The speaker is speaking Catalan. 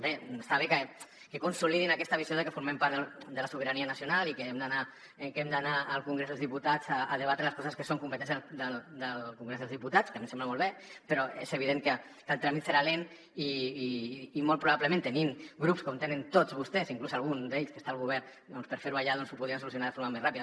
bé està bé que consolidin aquesta visió de que formem part de la sobirania nacional i que hem d’anar al congrés dels diputats a debatre les coses que són competència del congrés dels diputats que a mi em sembla molt bé però és evident que el tràmit serà lent i molt probablement tenint grups com tenen tots vostès inclús algun d’ells que està al govern doncs per fer ho allà ho podrien solucionar de forma més ràpida